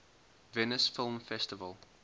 venice film festival